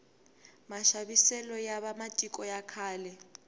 maxaviselo ya va matiko ya khale